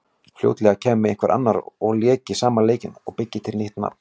Fljótlega kæmi einhver annar og léki sama leikinn og byggi til nýtt nafn.